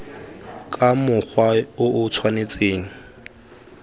ka mokgwa o o tshwanetseng